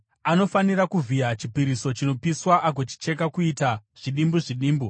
Anofanira kuvhiya chipiriso chinopiswa agochicheka kuita zvidimbu zvidimbu.